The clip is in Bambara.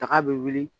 Daga bɛ wuli